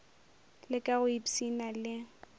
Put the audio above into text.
le ka go ipshina le